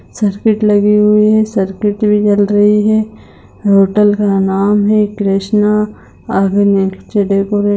circuit लगी हुई है सर्किट भी जल रही है होटल का नाम हे कृष्ना